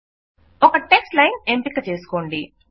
ఒక text line ఎంపిక చేసుకోండి